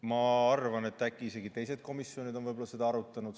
Ma arvan, et äkki isegi teised komisjonid on seda arutanud.